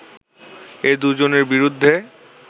এ দু’জনের বিরুদ্ধে